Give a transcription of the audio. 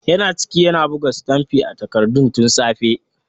Yana ciki yana buga sitamfi a takardun tun safe.